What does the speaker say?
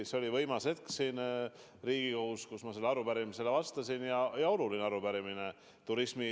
See oli võimas hetk siin Riigikogus, kui ma sellele arupärimisele vastasin, ja see oli oluline arupärimine.